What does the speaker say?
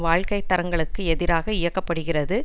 வாழ்க்கை தரங்களுக்கு எதிராக இயக்க படுகிறது